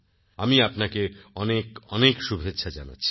আমি আপনাকে অনেক শুভেচ্ছা জানাচ্ছি